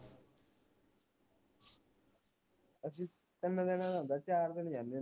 ਅਸੀਂ ਤਿੰਨ ਦਿਨਾਂ ਦਾ ਹੁੰਦਾ ਚਾਰ ਦਿਨ ਜਾਣੇ ਹੁਣੇ